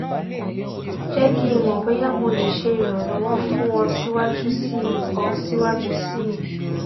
jẹ ki n mọ boya mo le ṣe iranlọwọ fun ọ siwaju sii ọ siwaju sii